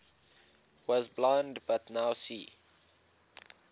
was blind but now see